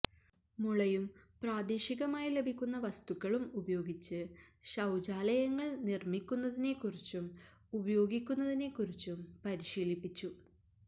മുളയും പ്രാദേശികമായി ലഭിക്കുന്ന വസ്തുക്കളും ഉപയോഗിച്ച് ശൌചാലയങ്ങള് നിര്മിക്കുന്നതിനെക്കുറിച്ചും ഉപയോഗിക്കുന്നതിനെക്കുറിച്ചും പരിശീലിപ്പിച്ചു